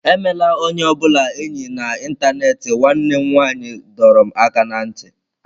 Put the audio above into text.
Emela onye ọ bụla enyi na ịntanetị nwanne m nwanyị dọrọ m aka ná ntị.